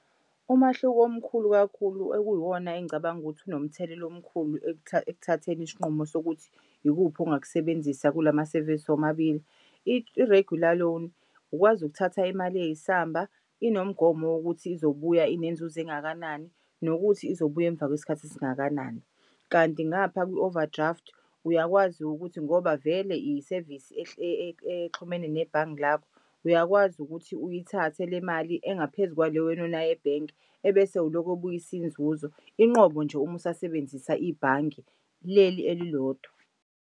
Umahluko omkhulu kakhulu okuyiwona engicabanga ukuthi unomthelela omkhulu ekuthatheni isinqumo sokuthi ikuphi ongakusebenzisa kulamasevisi omabili. I-regular loan ukwazi ukuthatha imali eyisamba inomgomo wokuthi izobuya inenzuzo engakanani nokuthi izobuya emva kwesikhathi esingakanani. Kanti ngapha kwi-overdraft uyakwazi ukuthi ngoba vele isevisi exhumene nebhange lakho, uyakwazi ukuthi uyithathe le mali engaphezu kwale wena onayo ebhenki ebese ulokhu ubuyisa inzuzo. Inqobo nje uma usasebenzisa ibhange leli elilodwa.